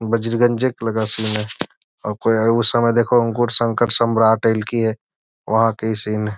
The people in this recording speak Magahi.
बजरगंजक लगा सी में संकर सम्राठ की है वहाँ के सीन --